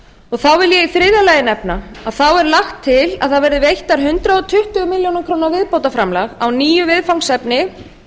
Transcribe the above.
þá vil ég í þriðja lagi nefna að lagt er til að veittar verði hundrað tuttugu milljónir króna viðbótarframlag á nýju viðfangsefni